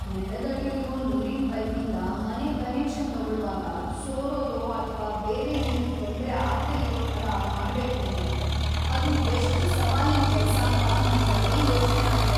ನೆಲದಡಿಲಿರೋ ನೀರಿನ್‌ ಪೈಪಿಂದ ಮನೆಗ್‌ ಕನೆಕ್ಷನ್‌ ತಗೊಳ್ವಾಗ ಸೋರೋದೋ ಅಥ್ವಾ ಬೇರೆ ಏನೂ ತೊಂದ್ರೆ ಆಗ್ದೇ ಇರೋ ಥರ ಮಾಡ್ಬೇಕೂಂದ್ರೆ ಅದು ಎಷ್ಟ್ ಸವಾಲಿನ್‌ ಕೆಲ್ಸಾಂತ ನಂಗದೇ ಯೋಚ್ನೆ ಆಗಿದೆ.